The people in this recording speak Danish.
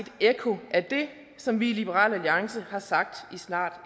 et ekko af det som vi i liberal alliance har sagt i snart